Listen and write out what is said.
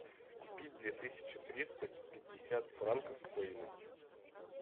купить две тысячи триста пятьдесят франков стоимость